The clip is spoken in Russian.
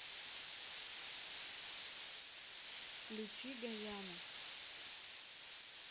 включи гайана